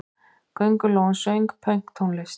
Köngulóin söng pönktónlist!